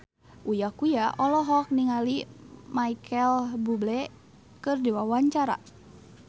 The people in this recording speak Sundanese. Uya Kuya olohok ningali Micheal Bubble keur diwawancara